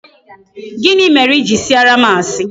Gịnị mere I jiri sịara m asi?